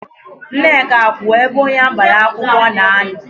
Nneka kwụ ebe onye agbara akwụkwọ na-anọ.